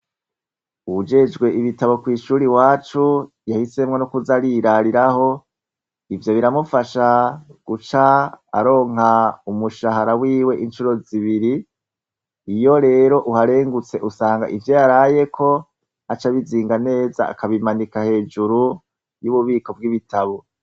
Uwujejwe ibitabo kw'ishuri iwacu, yahisemwo n' uguca yirariraho, ivyo biramufasha guca aronka umushahara wiwe incuro zibiri, iyo rero uharengutse usanga ivyo yarayeko, aca abizinga neza akabimanika hejuru y' ububiko bw' ibitabo.